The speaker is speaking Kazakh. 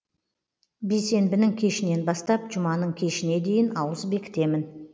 бейсенбінің кешінен бастап жұманың кешіне дейін ауыз бекітемін